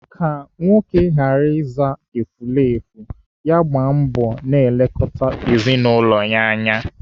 Ka nwoke ghara ịza efulefu, ya gbaa mbọ na-elekọta ezinaụlọ ya anya.